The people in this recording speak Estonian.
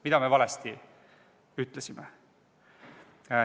Mida me valesti ütlesime?